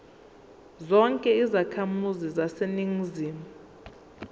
zonke izakhamizi zaseningizimu